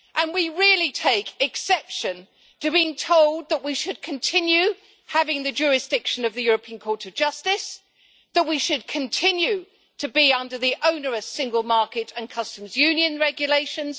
We really take exception to being told that we should continue having the jurisdiction of the European Court of Justice and that we should continue to be under the onerous single market and customs union regulations.